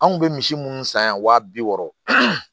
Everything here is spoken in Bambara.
Anw kun bɛ misi minnu san yan wa bi wɔɔrɔ